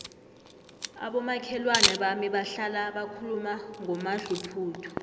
abomakhelwana bami bahlala bakhuluma ngomadluphuthu